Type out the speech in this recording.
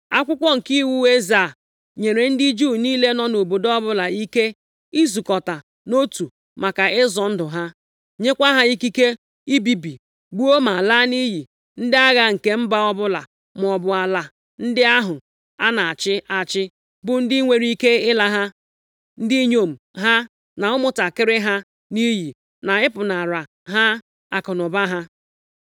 Akwụkwọ nke iwu eze a, nyere ndị Juu niile nọ nʼobodo ọbụla ike izukọta nʼotu maka ịzọ ndụ ha, nyekwa ha ikike ibibi, gbuo ma laa nʼiyi ndị agha nke mba ọbụla, maọbụ ala ndị ahụ a na-achị achị bụ ndị nwere ike ịla ha, ndị inyom ha na ụmụntakịrị ha nʼiyi, na ịpụnara ha akụnụba ha.